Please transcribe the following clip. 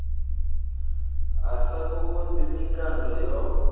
a sa kokodzi mikando yo